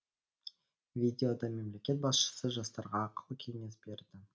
видеода мемлекет басшысы жастарға ақыл кеңес берді